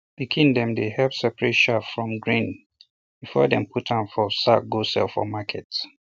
pikin dem dey help separate chaff from grain before dem put am for sack go sell for market